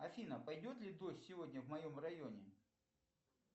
афина пойдет ли дождь сегодня в моем районе